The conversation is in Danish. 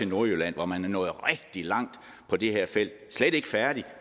nordjylland hvor man er nået rigtig langt på det her felt slet ikke færdig